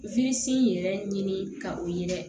yɛrɛ ɲini ka o ye dɛ